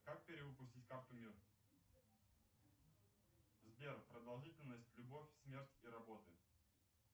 как перевыпустить карту мир сбер продолжительность любовь смерть и работы